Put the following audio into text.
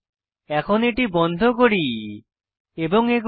এখন এটি বন্ধ করি এবং এগোই